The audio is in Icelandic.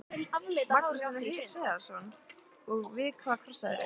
Magnús Hlynur Hreiðarsson: Og við hvað krossaðirðu?